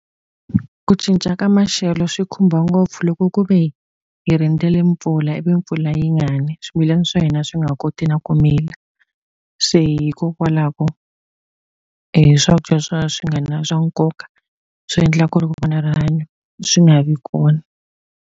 Ku cinca ka maxelo swi khumba ngopfu loko ku ve hi rindzele mpfula ivi mpfula yi nga ni, swimilana swa hina swi nga ha koti na ku mila. Se hikokwalaho swakudya swa swi nga na swa nkoka, swi endla ku ri ku va na rihanyo swi nga vi kona.